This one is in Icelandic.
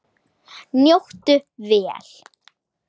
Njóttu vel.